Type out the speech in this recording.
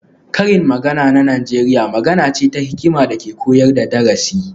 Karin magana na Najeriya magana ce ta hikima da ke koyar da darasi